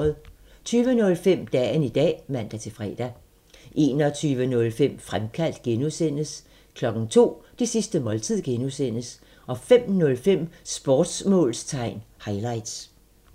20:05: Dagen i dag (man-fre) 21:05: Fremkaldt (G) 02:00: Det sidste måltid (G) 05:05: Sportsmålstegn highlights